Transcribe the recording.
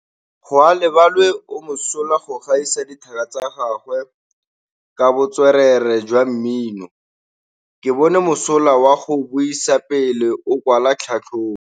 Gaolebalwe o mosola go gaisa dithaka tsa gagwe ka botswerere jwa mmino. Ke bone mosola wa go buisa pele o kwala tlhatlhobô.